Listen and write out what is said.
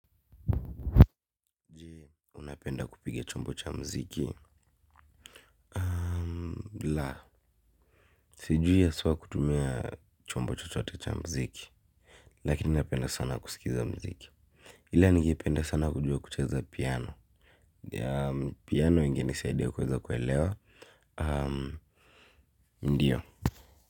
Je, unapenda kupiga chombo cha muziki? La, sijui haswa kutumia chombo chochote cha muziki, lakini napenda sana kusikiza muziki. Ila ningependa sana kujua kucheza piano. Piano ingenisaidia kuweza kuelewa. Ndiyo.